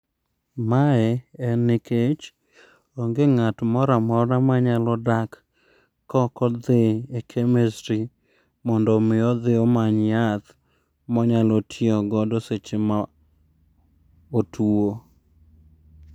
Mae en nikech, onge ng'at moramora kok odhi e chemistry mondo mi odhi omany yath monyalo tiyo godo eseche ma otuo.